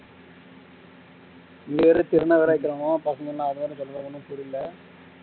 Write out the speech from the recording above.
பசங்க சொல்லுறது ஒன்னும் புரியல